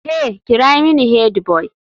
Hey!kira mini headboy.